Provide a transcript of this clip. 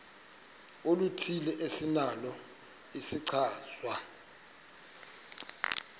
oluthile esinalo isichazwa